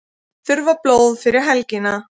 Þurfa blóð fyrir helgina